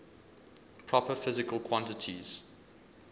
proper physical quantities